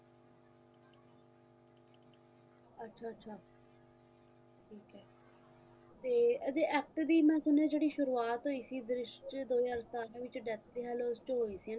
ਤੇ ਇਹਦੇ act ਦੀ ਮੈਂ ਸੁਣਿਆ ਹੈ ਜਿਹੜੀ ਸ਼ੁਰੂਆਤ ਹੋਈ ਸੀ ਦ੍ਰਿਸ਼ਟ ਦੋ ਹਜ਼ਾਰ ਸਨ ਦੇ ਵਿਚ death ਓਹੋ ਹੀ ਸੀ ਨਾਂ